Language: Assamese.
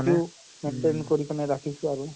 তো maintain কৰি পিনে ৰাখিছো আৰু